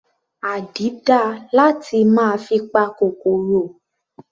Àdí dáa láti máa fi pa kòkòrò.